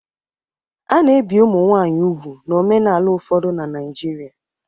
A na-ebi ụmụ nwaanyị úgwù n'omenala ụfọdụ na Naịjirịa.